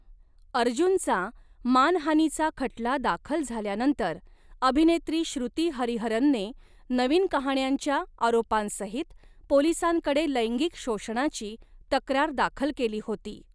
अर्जुनचा मानहानीचा खटला दाखल झाल्यानंतर अभिनेत्री श्रुती हरिहरनने नवीन कहाण्यांच्या आरोपांसहित पोलिसांकडे लैंगिक शोषणाची तक्रार दाखल केली होती.